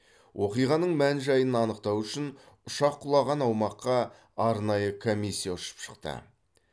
оқиғаның мән жайын анықтау үшін ұшақ құлаған аумаққа арнайы комиссия ұшып шықты